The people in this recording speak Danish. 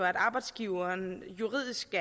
arbejdsgiveren juridisk